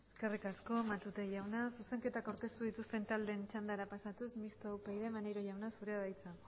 eskerrik asko matute jauna zuzenketak aurkeztu dituzten taldeen txandara pasatuz mistoa upyd maneiro jauna zurea da hitza